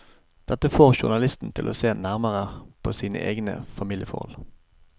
Dette får journalisten til å se nærmere på sine egne familieforhold.